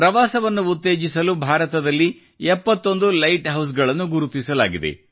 ಪ್ರವಾಸವನ್ನು ಉತ್ತೇಜಿಸಲು ಭಾರತದಲ್ಲಿ 71 ಲೈಟ್ ಹೌಸ್ಗಳನ್ನು ಗುರುತಿಸಲಾಗಿದೆ